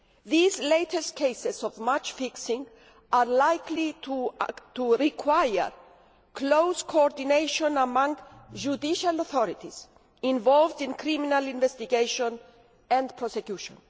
These latest cases of match fixing are likely to require close coordination among judicial authorities involved in criminal investigation and prosecution.